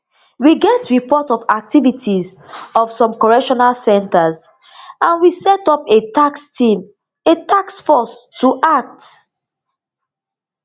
we get report of activities for some correctional centres and we set up a task team a task force to act